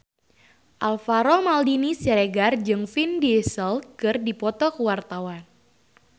Alvaro Maldini Siregar jeung Vin Diesel keur dipoto ku wartawan